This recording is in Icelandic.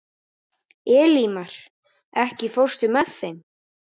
Elímar, ekki fórstu með þeim?